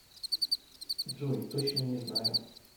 джой точно не знаю